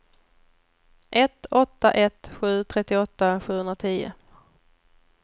ett åtta ett sju trettioåtta sjuhundratio